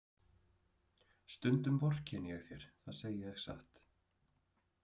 Stundum vorkenni ég þér, það segi ég satt.